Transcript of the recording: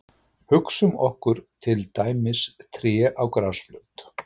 Hugsum okkur til dæmis tré á grasflöt.